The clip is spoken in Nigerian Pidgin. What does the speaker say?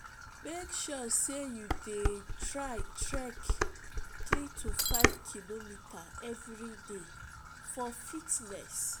mek sure sey yu dey try trek 3-5km evriday for fitness